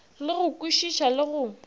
le go kwešiša le go